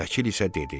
Vəkil isə dedi: